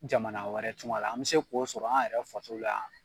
Jamana wɛrɛ tunga la an bɛ se k'o sɔrɔ an yɛrɛ faso la yan.